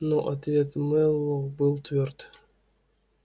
но ответ мэллоу был твёрд